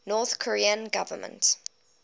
north korean government